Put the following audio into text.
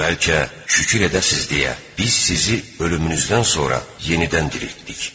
Bəlkə şükür edəsiz deyə biz sizi ölümünüzdən sonra yenidən diriltdik.